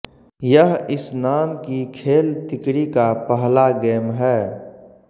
यह इस नाम की खेल तिकड़ी का पहला गेम है